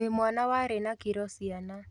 Wĩ mwana warĩ na kiro ciana